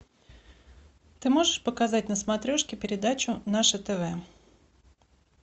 ты можешь показать на смотрешке передачу наше тв